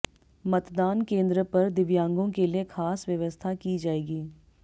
मतदान केंद्र पर दिव्यांगों के लिए खास व्यवस्था की जाएगी